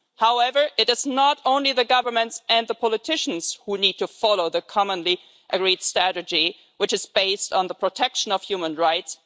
However, it is not only the governments and the politicians who need to follow the commonly agreed strategy which is based on the protection of human rights.